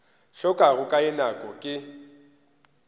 hlokago ka ye nako ke